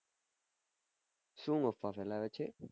શું અફવા ફેલાવે છે